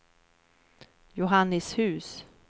Johannishus